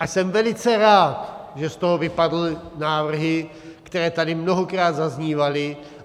A jsem velice rád, že z toho vypadly návrhy, které tady mnohokrát zaznívaly.